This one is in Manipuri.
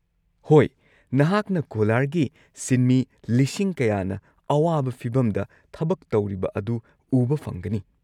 ꯍꯣꯏ, ꯅꯍꯥꯛꯅ ꯀꯣꯂꯥꯔꯒꯤ ꯁꯤꯟꯃꯤ ꯂꯤꯁꯤꯡ ꯀꯌꯥꯅ ꯑꯋꯥꯕ ꯐꯤꯕꯝꯗ ꯊꯕꯛ ꯇꯧꯔꯤꯕ ꯑꯗꯨ ꯎꯕ ꯐꯪꯒꯅꯤ꯫